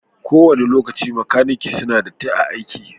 Ko wani lokaci makanaki suna datti a'aiki.